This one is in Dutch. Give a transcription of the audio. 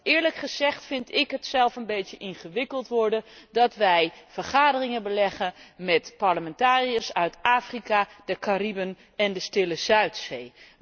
Eerlijk gezegd vind ik het zelf een beetje ingewikkeld worden dat wij vergaderingen beleggen met parlementariërs uit Afrika, de Caraïben en de Stille Zuidzee.